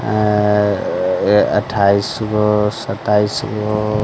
अअअ-अ ए अठाईसगो सताइशगो --